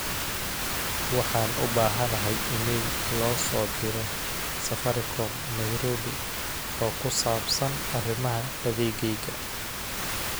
waxaan u baahanahay iimayl loo soo diro safaricom nairobi oo ku saabsan arimaha adeegayga